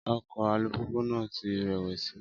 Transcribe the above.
Ọkọ̀ alùpùpù náà ti rẹ̀wẹ̀sì.